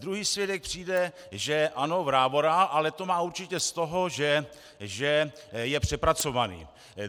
Druhý svědek přijde, že ano, vrávorá, ale to má určitě z toho, že je přepracovaný.